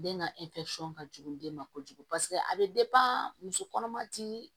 Den ka ka jugu den ma kojugu paseke a bɛ muso kɔnɔma ti